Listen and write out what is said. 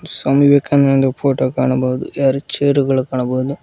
ಸ್ವಾಮಿ Vivekananda photo ಕಾಣಬಹುದು ಎರು chair ಗಳು ಕಾಣಬಹುದು.